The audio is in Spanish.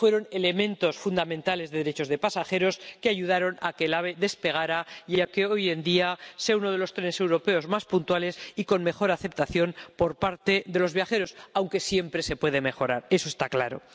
Fueron elementos fundamentales de los derechos de los pasajeros que ayudaron a que el AVE despegara y a que hoy en día sea uno de los trenes europeos más puntuales y con mejor aceptación por parte de los viajeros, aunque siempre se puede mejorar, eso está claro.